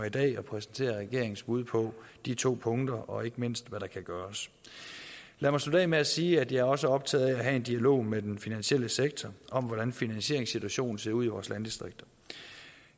i dag at præsentere regeringens bud på de to punkter og ikke mindst hvad der kan gøres lad mig slutte af med at sige at jeg også er optaget af at have en dialog med den finansielle sektor om hvordan finansieringssituationen ser ud i vores landdistrikter